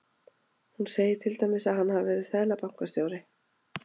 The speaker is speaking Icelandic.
Hún segir til dæmis að hann hafi verið seðlabankastjóri.